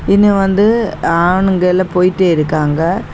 இன்னு வந்து ஆணுங்கயெல்லாம் போய்ட்டே இருக்காங்க.